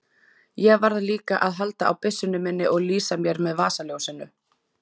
Ég varð líka að halda á byssunni minni og lýsa mér með vasaljósinu.